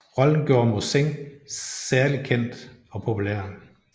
Rollen gjorde Mossin særdeles kendt og populær